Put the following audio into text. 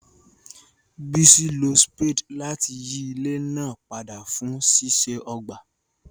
Bisi lo spade láti yí ilẹ̀ náà padà fún ṣíṣe ọgbà.